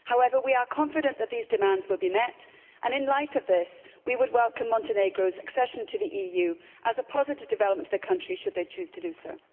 However, we are confident that these demands will be met and, in light of this, we would welcome Montenegro's accession to the EU as a positive development to the country, should they choose to do so.